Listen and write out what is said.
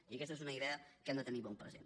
i aquesta és una idea que hem de tenir ben present